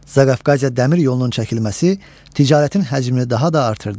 Zaqafqaziya dəmir yolunun çəkilməsi ticarətin həcmini daha da artırdı.